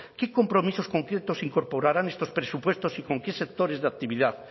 qué compromisos concretos se incorporarán en estos presupuestos y con qué sectores de actividad